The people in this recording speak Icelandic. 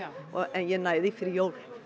en ég næ því fyrir jól